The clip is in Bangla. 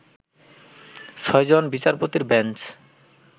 ছয়জন বিচারপতির বেঞ্চ